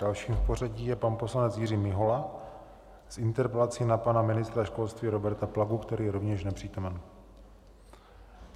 Dalším v pořadí je pan poslanec Jiří Mihola s interpelací na pana ministra školství Roberta Plagu, který je rovněž nepřítomen.